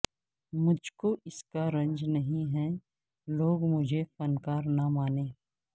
مجھ کو اس کا رنج نہیں ہے لوگ مجھے فن کار نہ مانیں